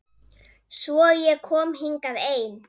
Svo ég kom hingað ein.